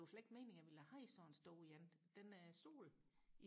det var slet ikke meningen jeg ville have sådan en stor en den stod